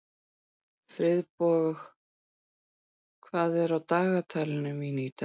Friðborg, hvað er á dagatalinu mínu í dag?